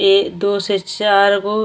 एक दो से चार गो --